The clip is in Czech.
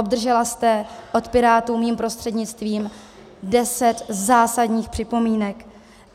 Obdržela jste od Pirátů mým prostřednictvím deset zásadních připomínek.